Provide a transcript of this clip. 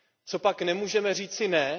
Copak nemůžeme říci ne?